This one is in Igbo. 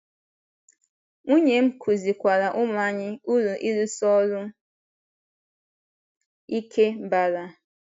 Nwunye m kụzikwaara ụmụ anyị uru ịrụsi ọrụ ike bara.